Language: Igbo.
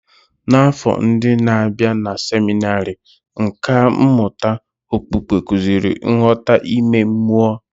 N'afọ ndi n'abia na seminarị, nkà mmụta okpukpe kụziri nghọta ime mmụọ.